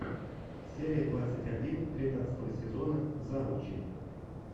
серия двадцать один тринадцатого сезона завучи